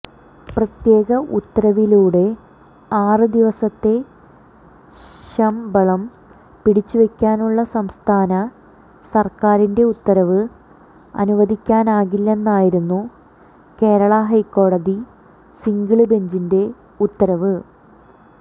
പ്രത്യേക ഉത്തരവിലൂടെ ആറ് ദിവസത്തെ ശമ്ബളം പിടിച്ചുവെക്കാനുള്ള സംസ്ഥാന സര്ക്കാരിന്റെ ഉത്തരവ് അനുവദിക്കാനാകില്ലെന്നായിരുന്നു കേരള ഹൈക്കോടതി സിംഗിള് ബെഞ്ചിന്റെ ഉത്തരവ്